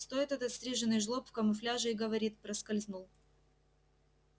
стоит этот стриженый жлоб в камуфляже и говорит проскользнул